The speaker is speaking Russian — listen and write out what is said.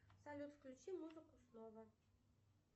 салют включи музыку снова